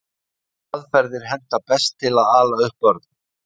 hvaða aðferðir henta best til að ala upp börn